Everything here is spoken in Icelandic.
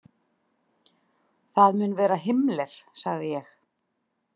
Það mun vera Himmler, sagði ég.